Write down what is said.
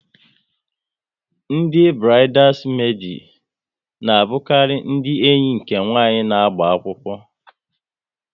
Ndị burides medi na abukari ndị enyi nke nwanyị na-agba akwụkwọ